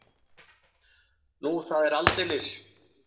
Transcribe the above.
Nú, það er aldeilis.